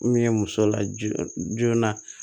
Mun ye muso la joona joona